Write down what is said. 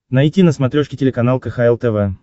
найти на смотрешке телеканал кхл тв